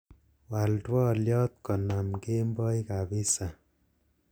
wal twolyot konam kemboi kabiza